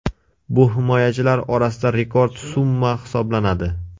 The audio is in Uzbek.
Bu himoyachilar orasida rekord summa hisoblanadi.